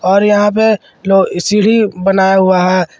और यहां पे लो सीढी बनाया हुआ है।